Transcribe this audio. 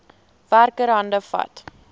werker hande vat